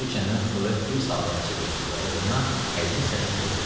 Su içəndən sonra bir salavat çevirdi və oğluna həzin səslə dedi: